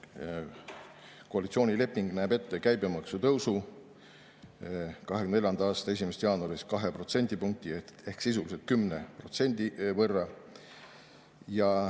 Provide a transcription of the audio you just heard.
Koalitsioonileping näeb ette käibemaksu tõusu 2024. aasta 1. jaanuarist 2 protsendipunkti ehk sisuliselt 10%.